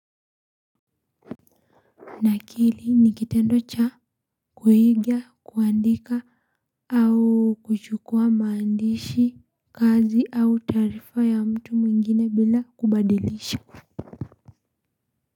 Nakili ni kitendo cha kuiga, kuandika au kuchukua maandishi, kazi au taarifa ya mtu mwingine bila kubadilisha.